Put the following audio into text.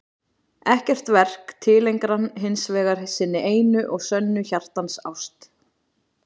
Ekkert verk tileinkar hann hins vegar sinni einu og sönnu hjartans ást.